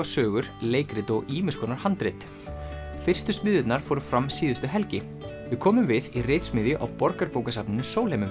sögur leikrit og ýmiss konar handrit fyrstu smiðjurnar fóru fram síðustu helgi við komum við í á Borgarbókasafninu Sólheimum